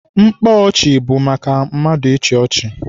Mkpa ọchị bụ maka mmadụ ịchị ọchị.